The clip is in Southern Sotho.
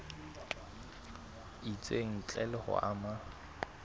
itseng ntle le ho ama